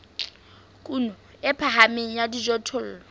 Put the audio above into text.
kuno e phahameng ya dijothollo